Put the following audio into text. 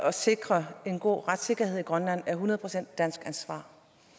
at sikre en god retssikkerhed i grønland er et hundrede procent dansk ansvar